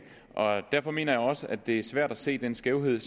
og derfor mener jeg også at det er svært at se den skævhed